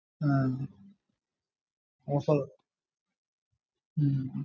ആഹ് offer ഉം